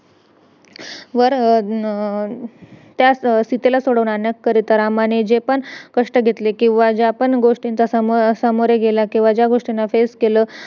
interview तर काहीच नव्हतं मग त्यांनी PAN Card आणि Aadhar Card . मागवलेलं interview तर काहीच नव्हतं तिकडे आमचा .